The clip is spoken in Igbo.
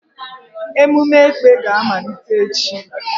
Emume Ekpè ga-amalite echi.